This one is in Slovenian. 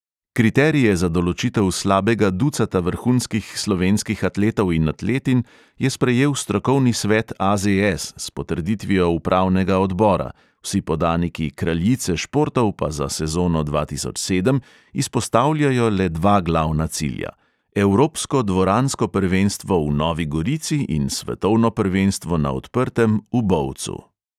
Kriterije za določitev slabega ducata vrhunskih slovenskih atletov in atletinj je sprejel strokovni svet AZS s potrditvijo upravnega odbora, vsi podaniki kraljice športov pa za sezono dva tisoč sedem izpostavljajo le dva glavna cilja: evropsko dvoransko prvenstvo v novi gorici in svetovno prvenstvo na odprtem v bovcu.